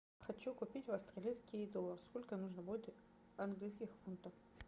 хочу купить австралийский доллар сколько нужно будет английских фунтов